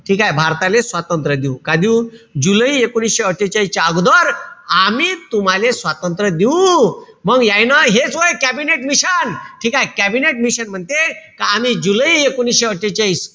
ठीकेय? भारताले स्वातंत्र्य देऊ. का देऊ? जुलै एकोणीशे अट्ठेचाळीसच्या अगोदर आमी तुम्हाले स्वातंत्र्य देऊ. मग यायनं हे जो ए कॅबिनेट मिशन, ठीकेय? कॅबिनेट मिशन म्हणते, का आमी जुलै एकोणीशे अट्ठेचाळीस,